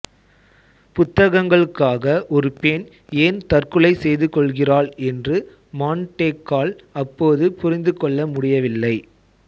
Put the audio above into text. புத்தகங்களுக்காக ஒரு பெண் ஏன் தற்கொலை செய்துகொள்கிறாள் என்று மாண்டெக்கால் அப்போது புரிந்துகொள்ள முடியவில்லை